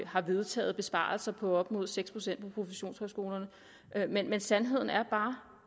har vedtaget besparelser på op mod seks procent på professionshøjskolerne men men sandheden er bare